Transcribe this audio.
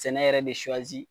Sɛnɛ yɛrɛ de suwazi